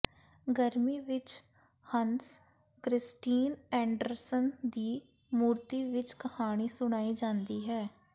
ਗਰਮੀ ਵਿਚ Hans Christian Andersen ਦੀ ਮੂਰਤੀ ਵਿਚ ਕਹਾਣੀ ਸੁਣਾਈ ਜਾਂਦੀ ਹੈ